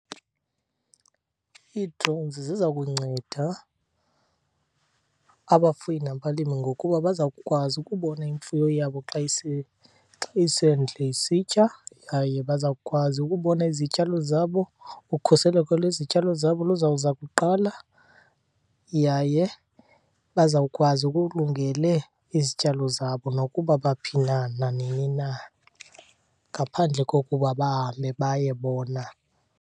Ii-drones ziza kunceda abafuyi nabalimi ngokuba bazawukwazi ukubona imfuyo yabo xa , xa isendle isitya yaye bazawukwazi ukubona izityalo zabo. Ukhuseleko lwezityalo zabo luzawuza kuqala yaye bazawukwazi okulungele izityalo zabo nokuba baphi na, nanini na, ngaphandle kokuba bahambe baye bona.